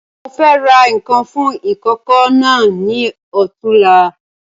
Mo fẹ́ ra nkan fún ìkókó náà ni ọ̀túnla